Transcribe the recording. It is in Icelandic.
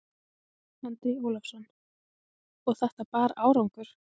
Andri Ólafsson: Og þetta bar árangur?